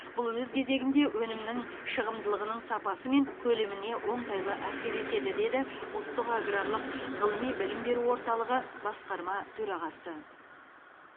бұл өз кезегінде өнімнің шығымдылығының сапасы мен көлеміне оңтайлы әсер етеді деді ұлттық аграрлық ғылыми білім беру орталығы басқарма төрағасы